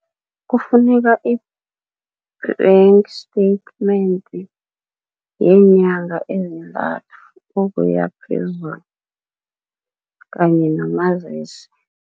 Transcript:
Kufuneka i-bank statement yeenyanga ezintathu ukuya phezulu kanye nomazisi.